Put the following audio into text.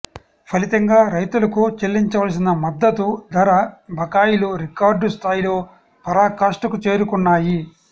ఫలితంగా రైతులకు చెల్లించవలసిన మద్ద తు ధర బకాయిలురికార్డు స్థాయిలో పరాకాష్ఠకు చేరుకున్నాయి